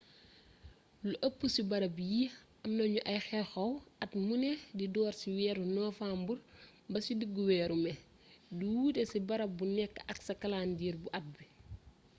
lu ëpp ci bërëb yi am na ñu ay xew xew at muné di door ci weeru niwambar ba ci diggu weeru mé di wuuté ci bërëb bu né ak sa kalendiriye bu at bi